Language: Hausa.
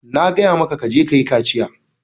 Na gaya maka ka je kayi kaciya.